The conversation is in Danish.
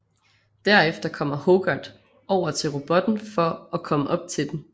Derefter kommer Hogarth over til robotten for og komme op til den